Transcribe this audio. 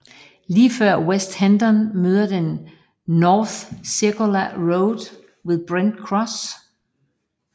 Lige før West Hendon møder den North Circular Road ved Brent Cross